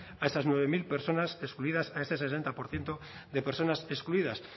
a esas nueve mil personas excluidas a ese sesenta por ciento de personas excluidas